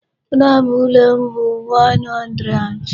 Number ụlọ m bụ 102.